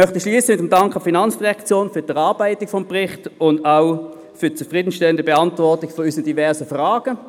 Ich möchte abschliessen und danke der FIN für die Erarbeitung des Berichts sowie für die zufriedenstellende Beantwortung unserer diversen Fragen.